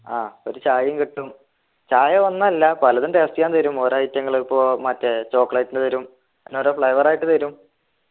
ആഹ് ഒരു ചായയും കിട്ടും ചായ ഒന്നല്ല പലതും taste ചെയ്യാൻ തരും ഓരോ item ങ്ങൾ പ്പോ മറ്റേ chocolate ന്റെ തരും അങ്ങനോരോ flavor ആയിട്ട് തരും